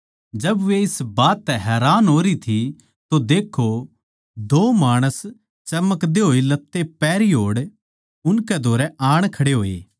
जब वे इस बात तै हैरान होरी थी तो देक्खो दो माणस चमकदे होए लत्ते पहरी होए उनकै धोरै आण खड़े होए